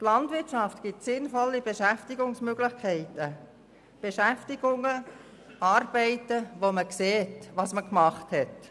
Die Landwirtschaft bietet sinnvolle Beschäftigungsmöglichkeiten, Beschäftigungen, Arbeiten, bei denen man sieht, was man gemacht hat.